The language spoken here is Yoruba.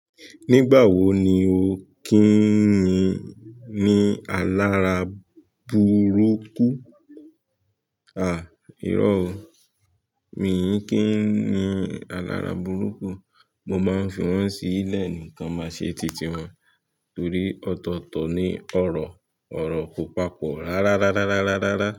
Nígbà wo ni o kì ń ní alára burúkú? Aà, irọ́ o. Mìí kí ń ní alára burúkú. Mo máa ń fi wọ́n sílẹ̀ ní kán máa ṣe titi wọn torí ọ̀tọ̀ọ̀tọ̀ ni ọ̀rọ̀. Ọ̀rọ̀ kò papọ̀ rárá rárá rárá rárá.